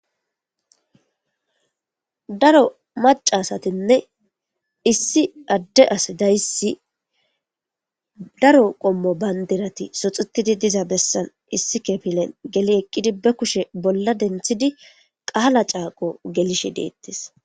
daro macasatinne issi adde as dayssi daro qommo bayndirati soxutidi diza bessan issi kepilen geli eqqidi be kushe bolla denthidi qaala caaqo gelishe deettes